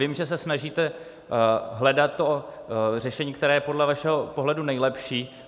Vím, že se snažíte hledat to řešení, které je podle vašeho pohledu nejlepší.